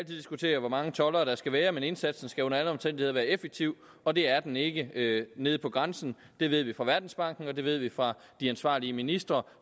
diskutere hvor mange toldere der skal være men indsatsen skal under alle omstændigheder være effektiv og det er den ikke nede på grænsen det ved vi fra verdensbanken og det ved vi fra de ansvarlige ministre